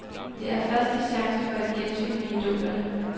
Det er første chance for et gensyn med idolerne.